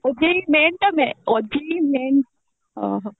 OJEE main ଟା ମେ OJEE main ଓଃ ହୋ